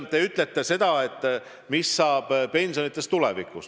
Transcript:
Te küsite, mis saab pensionitest tulevikus.